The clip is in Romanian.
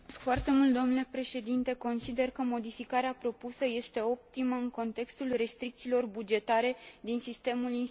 Consider că modificarea propusă este optimă în contextul restricțiilor bugetare din sistemul instituțional european.